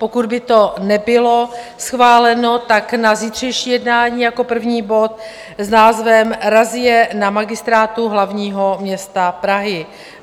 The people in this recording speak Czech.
pokud by to nebylo schváleno, tak na zítřejší jednání jako první bod s názvem Razie na Magistrátu hlavního města Prahy.